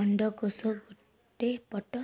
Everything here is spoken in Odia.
ଅଣ୍ଡକୋଷ ଗୋଟେ ପଟ